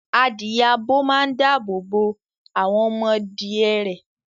Adìẹ abo máa ń dáàbò bo àwọn ọmọdìẹ rẹ̀.